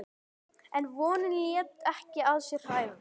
En vonin lét ekki að sér hæða.